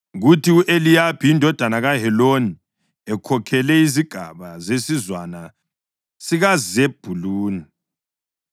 kuthi u-Eliyabi indodana kaHeloni ekhokhele izigaba zesizwana sikaZebhuluni.